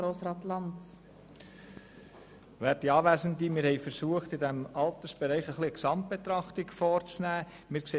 Wir haben versucht, im Altersbereich eine Gesamtbetrachtung vorzunehmen.